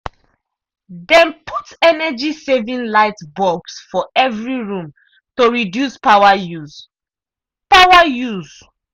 dem put energy-saving lightbulbs for every room to reduce power use. power use.